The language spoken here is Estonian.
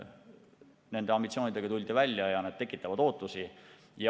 Nende ambitsioonidega tuldi välja ja need tekitavad ootusi.